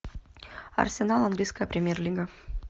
арсенал английская премьер лига